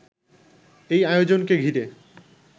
এই আয়োজনকে ঘিরে